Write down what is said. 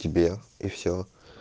тебе и всё